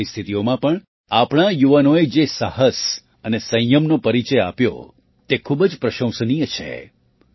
આ પરિસ્થિતિઓમાં પણ આપણા યુવાનોએ જે સાહસ અને સંયમનો પરિચય આપ્યો તે ખૂબ જ પ્રશંસનીય છે